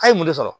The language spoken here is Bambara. A' ye mun de sɔrɔ